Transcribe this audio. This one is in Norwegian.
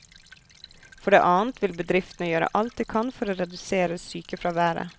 For det annet vil bedriftene gjøre alt de kan for å redusere sykefraværet.